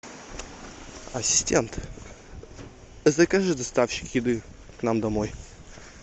ассистент закажи доставщик еды к нам домой